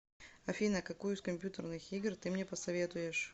афина какую из компьютерных игр ты мне посоветуешь